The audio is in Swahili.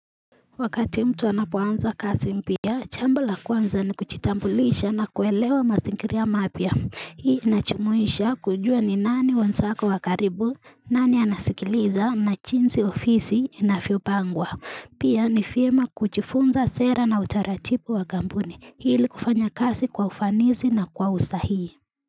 Wakati mtu anapoanza kasi mpya, chambo la kwanza ni kuchitambulisha na kuelewa masingiria mapya. Hii inachumuisha kujua ni nani wensako wa karibu, nani anasikiliza na chinsi ofisi inafiopangwa. Pia ni fiema kuchifunza sera na utaratipu wa gambuni hili kufanya kasi kwa ufanisi na kwa usahihi.